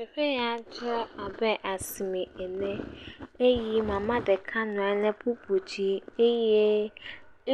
Teƒe ya dze abe asime ene eye mama ɖeka nɔ anyi ɖe kpukpo dzi eye